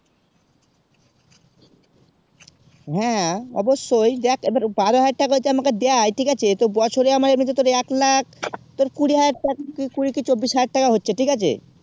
হেঁ অবসয়ে দেখ পারো হয়ে ঢালছে আমাকে দায়ে ঠিক আছে তো বছরে আমাকে এমিনি তোর এক লাখ তোর কুড়ি হাজার টাকা কুড়ি কি চৌবিশ হাজার টাকা হচ্ছে ঠিক আছে